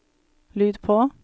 lyd på